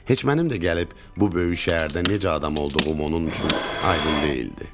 Heç mənim də gəlib bu böyük şəhərdə necə adam olduğum onun üçün aydın deyildi.